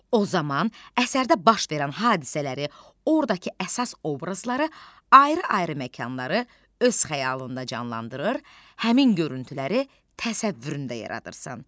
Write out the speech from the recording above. O zaman əsərdə baş verən hadisələri, ordakı əsas obrazları, ayrı-ayrı məkanları öz xəyalında canlandırır, həmin görüntüləri təsəvvüründə yaradırsan.